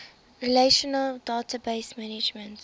relational database management